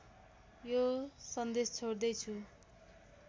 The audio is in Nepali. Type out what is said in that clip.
यो सन्देश छोड्दैछु